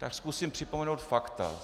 Tak zkusím připomenout fakt.